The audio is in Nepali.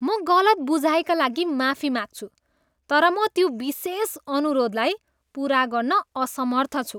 म गलत बुझाइका लागि माफी माग्छु, तर म त्यो विशेष अनुरोधलाई पुरा गर्न असमर्थ छु।